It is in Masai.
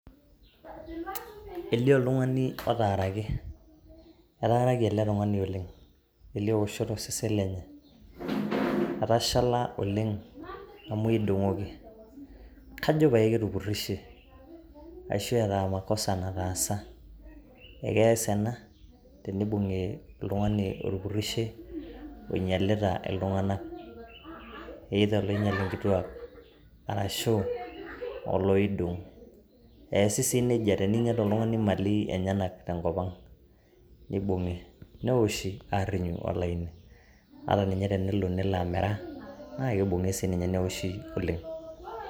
Elio oltung'ani otaaraki, etaaraki ele tung'ani oleng' elio woshot to sesen lenye. Etashala oleng' amu keidong'oki, kajo pae ketupurishe ashe eeta makosa nataasa. Ee keasa ena tenibung'i oltung'ani otupurishe oloinyalita iltung'anak either oloinyal inkituak arashu oloidong'. Eesi sii neija teneinyal oltung'ani mali enyenak tenkop ang', nibung'i nioshi aarinyu olaini. Ata ninye tenelo amera nibung'i naake sininye newoshi oleng'.